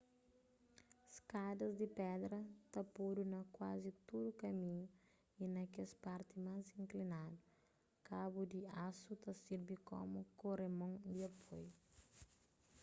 skadas di pedra ta podu na kuazi tudu kaminhu y na kes parti más inklinadu kabu di asu ta sirbi komu koremon di apoiu